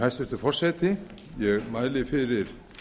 hæstvirtur forseti ég mæli fyrir